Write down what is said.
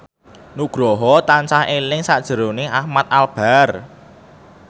Nugroho tansah eling sakjroning Ahmad Albar